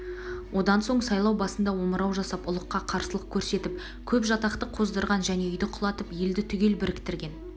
одан соң сайлау басында омырау жасап ұлыққа қарсылық көрсетіп көп жатақты қоздырған және үйді құлатып елді түгел бірктірген